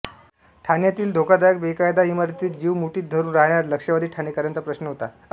ठाण्यातील धोकादायक बेकायदा इमारतीत जीव मुठीत धरून राहाणाऱ्या लक्षावधी ठाणेकरांचा प्रश्न मोठा होता